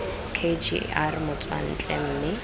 k g r motswantle mme